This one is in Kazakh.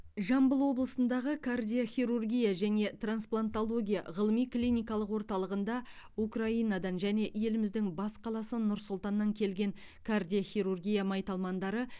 жамбыл облысындағы кардиохирургия және трансплантология ғылыми клиникалық орталығында украинадан және еліміздің бас қаласы нұр сұлтаннан келген кардиохирургия майталмандары